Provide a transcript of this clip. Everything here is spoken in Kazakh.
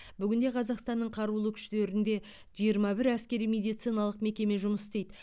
бүгінде қазақстанның қарулы күштерінде жиырма бір әскери медициналық мекеме жұмыс істейді